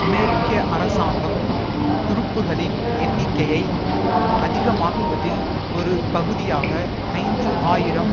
அமெரிக்க அரசாங்கம் துருப்புக்களின் எண்ணிக்கையை அதிகமாக்குவதில் ஒரு பகுதியாக ஐந்து ஆயிரம்